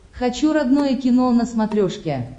хочу родное кино на смотрешке